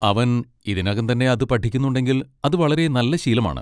അവൻ ഇതിനകം തന്നെ അത് പഠിക്കുന്നുണ്ടെങ്കിൽ അത് വളരെ നല്ല ശീലമാണ്.